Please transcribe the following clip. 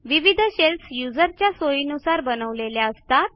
विविध शेल्स युजर्सच्या सोयीनुसार बनवलेल्या असतात